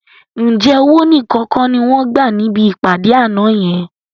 Ǹjẹ́ owó nìkan kọ́ ni wọ́n gbà níbi ìpàdé àná yẹn?